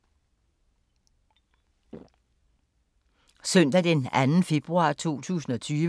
Søndag d. 2. februar 2020